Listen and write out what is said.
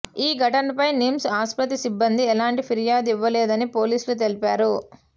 ఈ ఘటనపై నిమ్స్ ఆసుపత్రి సిబ్బంది ఎలాంటి ఫిర్యాదు ఇవ్వలేదని పోలీసులు తెలిపారు